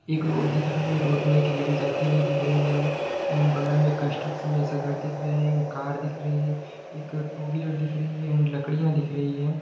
एक रोड दिख रही हैं रोड मे एक लेडिजआते हुए दिख रही है एंड बगल मे कंट्रक्सन जैसा घर दिख रहा हैं एक कार दिख रही है एक टू व्हीलर दिख रही है।